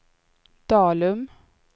Dalum